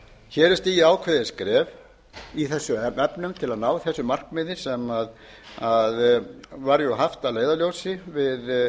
hér eru stigin ákveðin skref í þessum efnum til að ná þessu markmiði sem var haft að leiðarljósi við